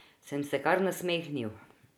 Sem se kar nasmehnil.